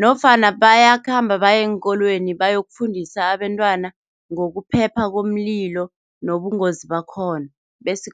nofana bayakhamba baye eenkolweni, bayokufundisa abentwana ngokuphepha komlilo nobungozi bakhona bese